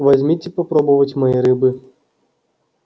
возьмите попробовать моей рыбы